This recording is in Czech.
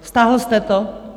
Stáhl jste to?